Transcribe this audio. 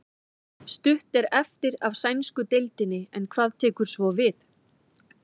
Stutt er eftir af sænsku deildinni en hvað tekur svo við?